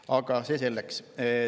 Aga see selleks.